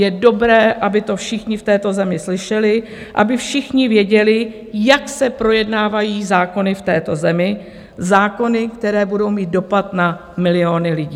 Je dobré, aby to všichni v této zemi slyšeli, aby všichni věděli, jak se projednávají zákony v této zemi, zákony, které budou mít dopad na miliony lidí.